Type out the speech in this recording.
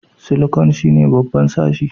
Silikon shine babban sashi